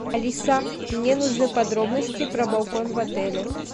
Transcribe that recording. алиса мне нужны подробности про балкон в отеле